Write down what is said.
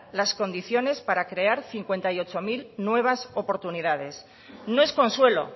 las condiciones para crear cincuenta y ocho mil nuevas oportunidades no es consuelo